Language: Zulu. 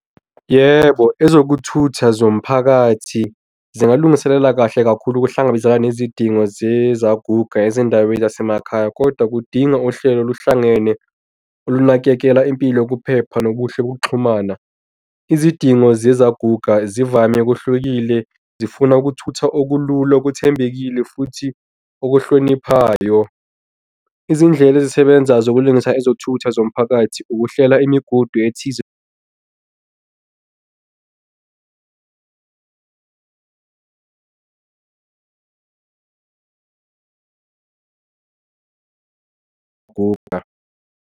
Yebo, ezokuthutha zomphakathi zingalungiselela kahle kakhulu ukuhlangabezana nezidingo zezaguga ezindawo zasemakhaya kodwa kudinga uhlelo oluhlangene ukunakekela impilo yokuphepha nobuhle ukuxhumana izidingo zezaguga zivame kuhlukile, zifuna ukuthutha okulula okuthembekile futhi okuhloniphayo. Izindlela ezisebenza zokulungisa ezothutha zomphakathi, ukuhlela imigudu ethize. .